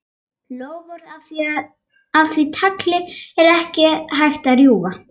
Loforð af því tagi er ekki hægt að rjúfa.